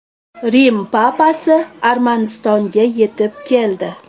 Rim papasi Armanistonga yetib keldi.